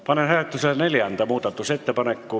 Panen hääletusele neljanda muudatusettepaneku.